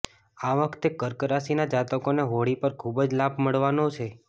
આ વખતે કર્ક રાશિના જાતકોને હોળી પર ખૂબ જ લાભ મળવાનો છે